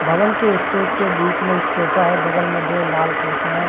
भवन के स्टेज के बीच में एक सोफा है बगल में दो लाल कुर्सियां है।